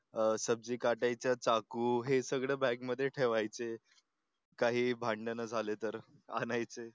सबजी काटायचा चाकू हे सगळं बॅग मध्ये ठेवायचे. काही भांडण झाले तर आणायचं